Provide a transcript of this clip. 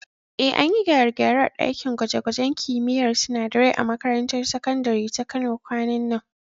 Eh, an yi gyare-gyare a ɗakin gwaje-gwajen kimiyyar sinadarai a makarantar sakandare ta Kano kwanan nan.